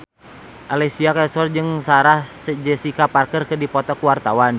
Alessia Cestaro jeung Sarah Jessica Parker keur dipoto ku wartawan